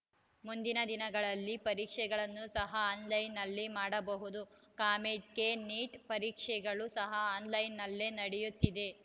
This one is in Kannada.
ಮುಂದಿನ ದಿನಗಳಲ್ಲಿ ಪರೀಕ್ಷೆಯನ್ನು ಸಹ ಆನ್‌ಲೈನ್‌ನಲ್ಲಿ ಮಾಡಬಹುದು ಕಾಮೆಡ್‌ಕೆ ನೀಟ್‌ ಪರೀಕ್ಷೆಗಳು ಸಹ ಆನ್‌ಲೈನ್‌ನಲ್ಲೇ ನಡೆಯುತ್ತಿದೆ